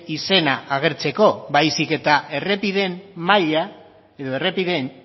izena agertzeko baizik eta errepideen maila edo errepideen